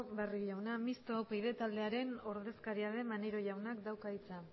barrio jaunak mistoa upyd taldearen ordezkaria den maneiro jauna dauka hitza